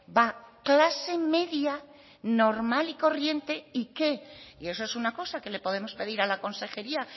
va clase media normal y corriente y qué y eso es una cosa que le podemos pedir a la consejería